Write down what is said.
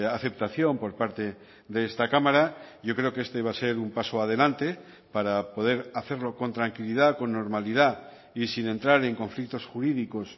aceptación por parte de esta cámara yo creo que este va a ser un paso adelante para poder hacerlo con tranquilidad con normalidad y sin entrar en conflictos jurídicos